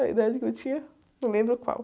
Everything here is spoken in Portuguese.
A idade que eu tinha? Não lembro qual.